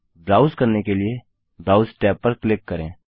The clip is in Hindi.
ब्राउज करने के लिए ब्राउज tab पर क्लिक करें